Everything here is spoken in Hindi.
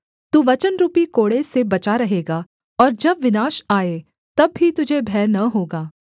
तू वचनरुपी कोड़े से बचा रहेगा और जब विनाश आए तब भी तुझे भय न होगा